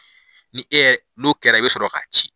Ni n'o kɛra i bɛ sɔrɔ k'a ci